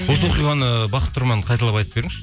осы оқиғаны бақыт тұрман қайталап айтып беріңізші